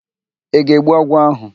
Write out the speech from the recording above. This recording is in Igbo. Ị ga-egbu agwọ áhụ̀?